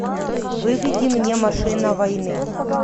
выведи мне машина войны